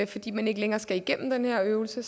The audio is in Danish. fordi man ikke længere skal igennem den her øvelse